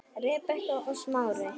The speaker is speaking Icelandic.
Rebekka og Smári.